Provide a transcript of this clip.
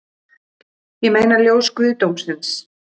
Ég meina ljós guðdómsins